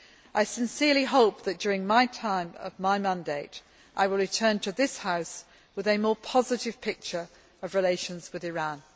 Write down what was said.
I sincerely hope that, during the time of my mandate, I will return to this House with a more positive picture of relations with Iran.